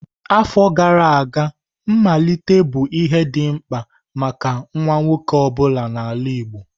Afọ gara aga, mmalite bụ ihe dị mkpa maka nwa nwoke ọ bụla n'ala Igbo.